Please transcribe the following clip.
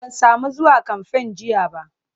Ban sami zuwa kamfen jiya ba.